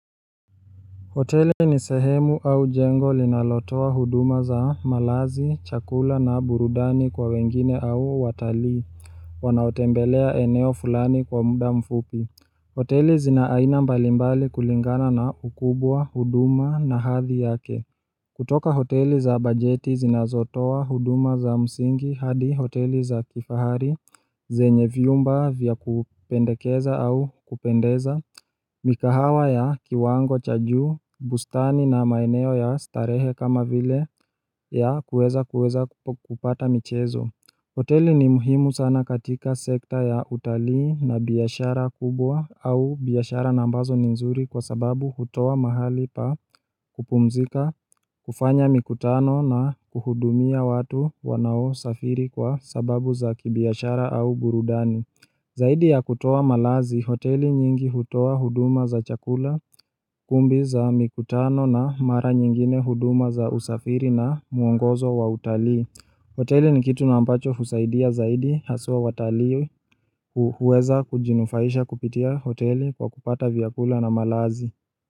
Hoteli ni sehemu au jengo linalotoa huduma za malazi, chakula na burudani kwa wengine au watalii Wanaotembelea eneo fulani kwa muda mfupi hoteli zina aina mbalimbali kulingana na ukubwa huduma na hadhi yake kutoka hoteli za bajeti zinazotoa, huduma za msingi, hadi hoteli za kifahari, zenye vyumba vya kupendekeza au kupendeza, mikahawa ya kiwango cha juu, bustani na maeneo ya starehe kama vile ya kueza kueza kupata michezo. Hoteli ni muhimu sana katika sekta ya utalii na biashara kubwa au biashara na ambazo n nzuri kwa sababu hutoa mahali pa kupumzika, kufanya mikutano na kuhudumia watu wanaosafiri kwa sababu za kibiashara au burudani. Zaidi ya kutoa malazi, hoteli nyingi hutoa huduma za chakula kumbi za mikutano na mara nyingine huduma za usafiri na muongozo wa utalii. Hoteli ni kitu na ambacho husaidia zaidi haswa watalii huweza kujinufaisha kupitia hoteli kwa kupata vyakula na malazi.